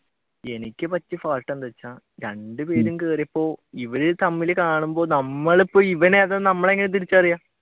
എനിക്ക് പറ്റിയ fault എന്തെന്ന് വെച്ച രണ്ടു പേരും കേറിയപ്പോ ഇവർ തമ്മിൽ കാണുമ്പോൾ നമ്മൾ ഇപ്പൊ ഇവൻ ഏതാണെന്ന് നമ്മൾ ഇപ്പൊ എങ്ങനെയാ തിരിച്ചറിയുക?